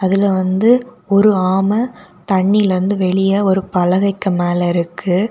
இதுல வந்து ஒரு ஆம தண்ணில இருந்து வெளியே ஒரு பலகைக்கு மேல இருக்கு.